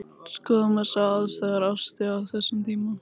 Skoðum aðstæður Ástu á þessum tíma.